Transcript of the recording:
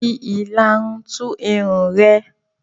Fi ìlarun tú irun rẹ.